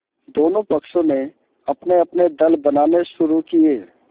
दोनों पक्षों ने अपनेअपने दल बनाने शुरू किये